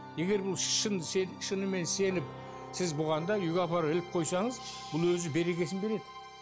егер бұл шын шынымен сеніп сіз бұған да үйге апарып іліп қойсаңыз бұл өзі берекесін береді